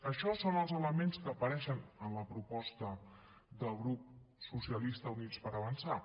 això són els elements que apareixen en la proposta del grup socialistes i units per avançar